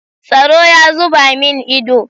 Tsaro ya zuba min ido.